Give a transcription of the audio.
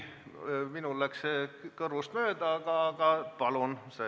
Minul läks see kõrvust mööda, aga kui mainiti, siis palun!